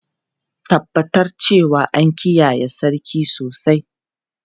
Tabbatar cewa an kiyaye sarki sosai!